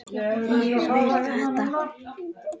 Ég vil þetta.